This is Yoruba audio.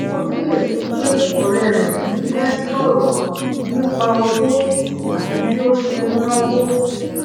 ó kíyèsí i pé òré re kì í fé sòrò nípa owó tàbí bí o ṣe ń náwó